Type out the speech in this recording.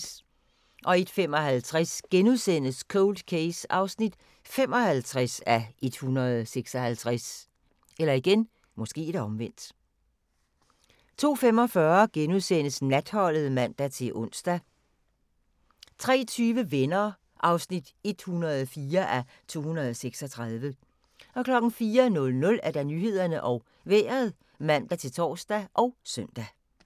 01:55: Cold Case (55:156)* 02:45: Natholdet *(man-ons) 03:20: Venner (104:236) 04:00: Nyhederne og Vejret (man-tor og søn)